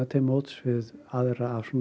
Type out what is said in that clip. til móts við aðra af